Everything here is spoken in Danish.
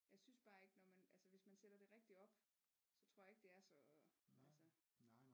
Jeg synes bare ikke når man altså hvis man sætter det rigtig op så tror jeg ikke det er så altså